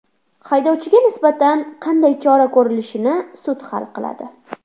Haydovchiga nisbatan qanday chora ko‘rilishini sud hal qiladi.